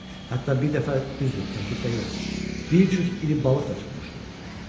Hətta bir dəfə, düzdür, təklikdə yox, bir cüt iri balıq da tutmuşdu.